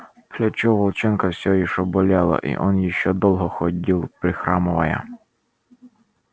плечо у волчонка все ещё болело и он ещё долго ходил прихрамывая